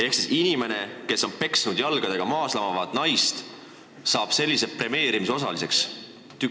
Ehk siis inimene, kes on peksnud jalgadega maas lamavat naist, saab sellise premeerimise osaliseks.